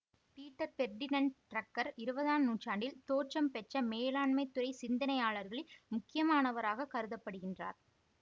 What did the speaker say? Peter Ferdinand Drucker இருபதாம் நூற்றாண்டில் தோற்றம் பெற்ற மேலாண்மைத் துறை சிந்தனையாளர்களில் முக்கியமானவராகக் கருத படுகின்றார்